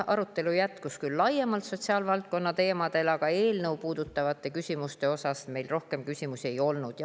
Arutelu jätkus küll laiemalt sotsiaalvaldkonna teemadel, aga eelnõu puudutavaid küsimusi meil rohkem ei olnud.